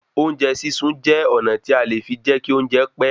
Oúnjẹ sísun jẹ́ ọ̀nà tí a fi lè jẹ́ kí oúnjẹ ó pẹ́